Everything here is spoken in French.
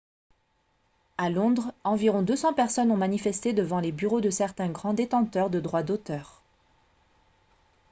à londres environ 200 personnes ont manifesté devant les bureaux de certains grands détenteurs de droits d'auteur